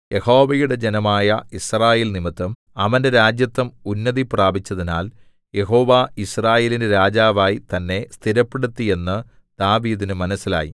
യഹോവയുടെ ജനമായ യിസ്രായേൽ നിമിത്തം അവന്റെ രാജത്വം ഉന്നതിപ്രാപിച്ചതിനാൽ യഹോവ യിസ്രായേലിന് രാജാവായി തന്നെ സ്ഥിരപ്പെടുത്തി എന്ന് ദാവീദിന് മനസ്സിലായി